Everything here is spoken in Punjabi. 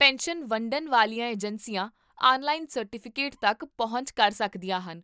ਪੈਨਸ਼ਨ ਵੰਡਣ ਵਾਲੀਆਂ ਏਜੰਸੀਆਂ ਆਨਲਾਈਨ ਸਰਟੀਫਿਕੇਟ ਤੱਕ ਪਹੁੰਚ ਕਰ ਸਕਦੀਆਂ ਹਨ